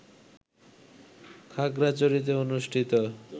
খাগড়াছড়িতে অনুষ্ঠিত